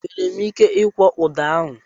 E nwere m ike ikwọ ụda ahụ?